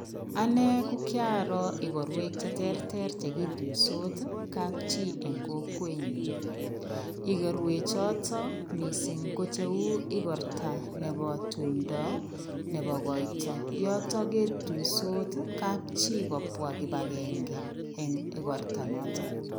Anne ko kiaroo igorwek cheterter chegitoisot kapchi eng kokwenyu. Igorwe choto mising ko cheu igorta nebo tumndo nebo koito. Yotok ketuisot kapchi kopwa kipagenge eng igorta noto.